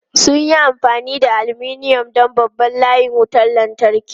Sun yi amfani da aluminum don babban layin wutar lantarki.